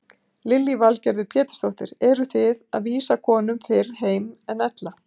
Lillý Valgerður Pétursdóttir: Eruð þið að vísa konum fyrr heim en ella?